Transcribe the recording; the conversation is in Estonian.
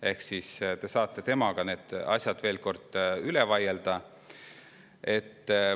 Ehk siis saate temaga need asjad veel kord üle vaielda.